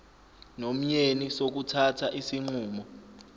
nomyeni sokuthatha isinqumo